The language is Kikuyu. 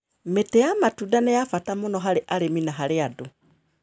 Mĩtĩ ya matunda nĩ ya bata mũno harĩ arĩmi na harĩ andũ.